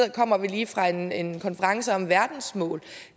kommer vi lige fra en en konference om verdensmål